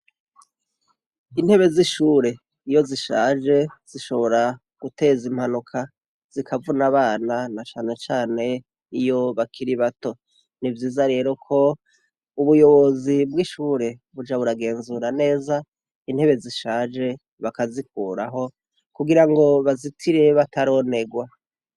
Intebe z'ishure iyo zishaje zishobora guteza impanuka, zikavuna abana na cane cane iyo bakiri bato. Nivyiza rero ko ubuyobozi bw'ishure buja buragenzura neza intebe zishaje bakazikuraho kugira ngo bazitire bataronerwa.